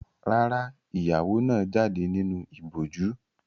Rárá, ìyàwó náà jáde nínú ìbòjú.